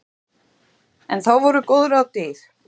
En þá voru góð ráð dýr.